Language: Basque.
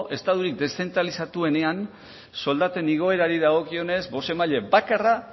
estaturik deszentralizatuenean soldaten igoerari dagokionez bozemaile bakarra